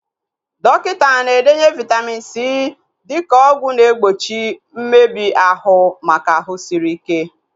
Dọkịta na-edenye Vaitamin C dịka ọgwụ na egbochi mmebi ahụ maka ahụ sịrị ike